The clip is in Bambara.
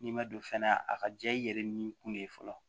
N'i ma don fɛnɛ a ka diya i yɛrɛ ni kun de ye fɔlɔ